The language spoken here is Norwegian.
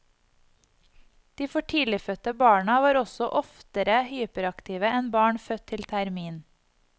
De for tidlig fødte barna var også oftere hyperaktive enn barn født til termin.